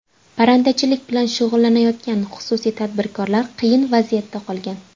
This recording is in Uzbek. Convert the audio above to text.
Parrandachilik bilan shug‘ullanayotgan xususiy tadbirkorlar qiyin vaziyatda qolgan.